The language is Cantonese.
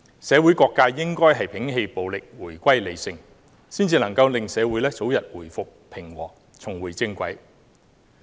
社會各界應該摒棄暴力，回歸理性，這樣才可以令社會早日回復平和，重回正軌。